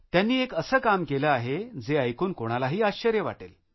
त्यांनी एक असे काम केलं आहे जे ऐकून कोणालाही आश्चर्य वाटेल